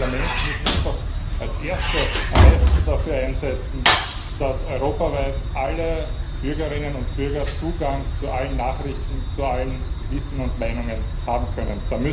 Wir als Parlament müssen uns doch als Erste am meisten dafür einsetzen, dass europaweit alle Bürgerinnen und Bürger Zugang zu allen Nachrichten, zu allem Wissen und zu allen Meinungen haben können.